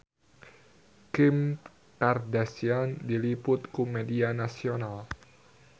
Kim Kardashian diliput ku media nasional